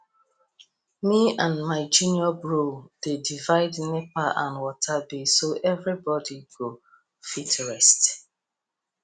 me and my junior bro dey divide nepa and water bill so everybody go fit rest